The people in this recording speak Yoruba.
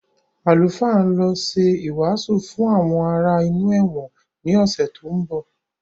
Àlùfáà ń lọ ṣe ìwàásù fún àwọn ará inú ẹ̀wọ̀n ni ọ̀sẹ̀ tó ń bọ̀